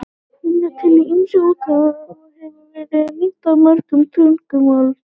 Hún er til í ýmsum útgáfum og hefur verið þýdd á mörg tungumál.